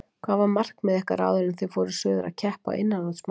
Hvað var markmið ykkar áður en þið fóruð suður að keppa á innanhúsmótinu?